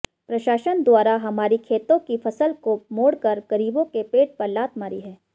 प्रशासन द्वारा हमारी खेतों की फसल को मोड़कर गरीबों के पेट पर लात मारी है